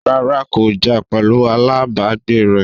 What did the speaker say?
rárá, kò jà pẹ̀lu alábàágbé rẹ̀